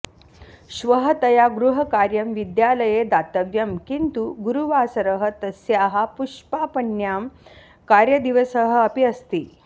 श्वः तया गृहकार्यं विद्यालये दातव्यं किन्तु गुरुवासरः तस्याः पुष्पापण्यां कार्यदिवसः अपि अस्ति